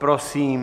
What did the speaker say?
Prosím.